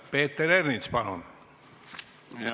Peeter Ernits, palun!